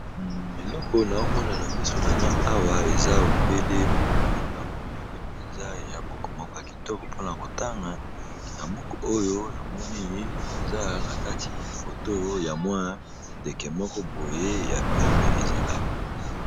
Eloko na omona na miso na nga awa eza obele buku moko ya monene mpenza ya buku moko ya kitoko mpona kotanga na buku oyo namonii koza na kati foto ya mwa ndeke moko boye ya pembe eza awa.